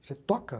Você toca?